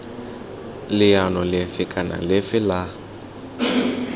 leano lefe kana lefe la